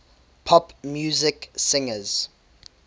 pop music singers